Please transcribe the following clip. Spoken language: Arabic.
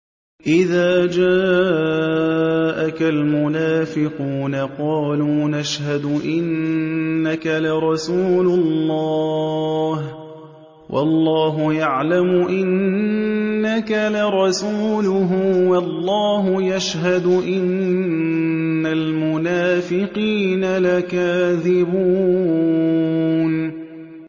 إِذَا جَاءَكَ الْمُنَافِقُونَ قَالُوا نَشْهَدُ إِنَّكَ لَرَسُولُ اللَّهِ ۗ وَاللَّهُ يَعْلَمُ إِنَّكَ لَرَسُولُهُ وَاللَّهُ يَشْهَدُ إِنَّ الْمُنَافِقِينَ لَكَاذِبُونَ